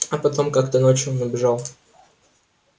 а потом как-то ночью он убежал